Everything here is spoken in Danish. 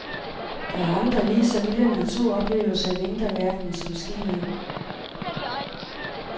Der er andre, lige så vilde naturoplevelser i vinterverdenen, som skiløb.